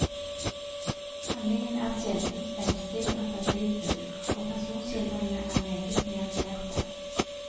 Handlingen er sjeldent spenstig og fantasifull, og personskildringene er meget nyanserte.